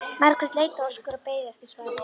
Margrét leit á Óskar og beið eftir svari.